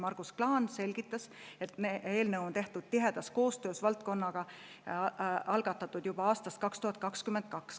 Margus Klaan selgitas, et eelnõu on tehtud tihedas koostöös valdkonnaga ja algatatud juba aastal 2022.